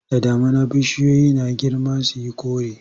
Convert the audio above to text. Da damuna bishiyoyi suna girma su yi kore.